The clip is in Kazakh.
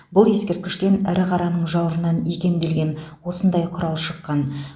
бұл ескерткіштен ірі қараның жауырынынан икемделген осындай құрал шыққан